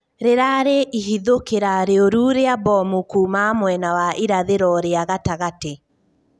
Rĩrarĩ ihithokĩra rĩurũ ria mbomu kũmĩra mwena wa irathĩro ria gatagatĩ